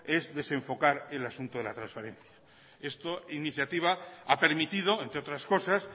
es desenfocar el asunto de la transparencia esta iniciativa ha permitido entre otras cosas